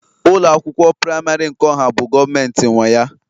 ụlọ akwụkwọ praịmarị nke ọha bụ Gọọmentị nwe ya